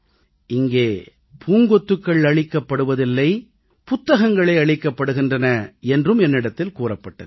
இங்கே பூங்கொத்துக்கள் அளிக்கப்படுவதில்லை புத்தகங்களே அளிக்கப்படுகின்றன என்றும் என்னிடத்தில் கூறப்பட்டது